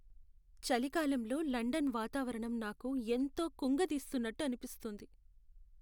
చలికాలంలో లండన్ వాతావరణం నాకు ఎంతో కుంగదీస్తున్నట్టు అనిపిస్తుంది.